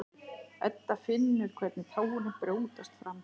Edda finnur hvernig tárin brjótast fram.